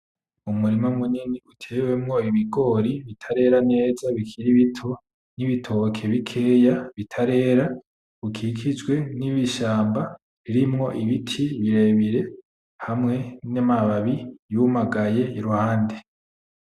Umurima munini utewemwo ibigori bitarera neza bikiri bito, nibitoke bikeya bitarera bikikijwe nishamba ririmwo ibiti birebire hamwe namababi yumagaye iruhande.